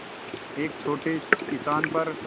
एक छोटे किसान पर